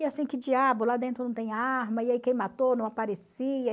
E assim, que diabo, lá dentro não tem arma, e aí quem matou não aparecia.